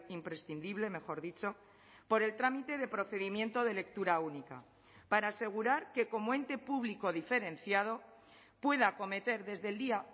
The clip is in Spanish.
imprescindible mejor dicho por el trámite de procedimiento de lectura única para asegurar que como ente público diferenciado pueda acometer desde el día